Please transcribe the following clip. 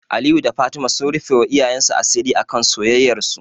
Aliyu da Fatima sun rufewa iyayensu asiri akan soyayyarsu.